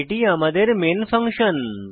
এটি আমাদের main function